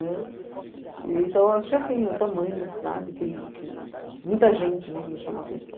né. Então, acho que assim, o tamanho da cidade aquele aquele... Muita gente, né, me chamou a atenção.